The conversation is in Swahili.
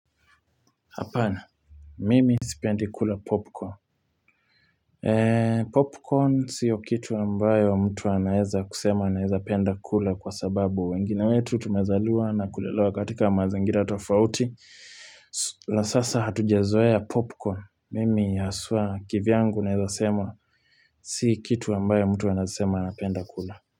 Hapana. Mimi sipendi kula popcorn. Popcorn sio kitu ambayo mtu anaeza kusema anaeza penda kula kwa sababu wengine wetu tumezaliwa na kulelewa katika mazangira atafrauti. Na sasa hatujazoea popcorn. Mimi haswa kivyangu naeza sema si kitu ambayo mtu anaeza sema anapenda kula.